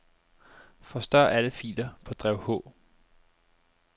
Forstør alle filer på drev H.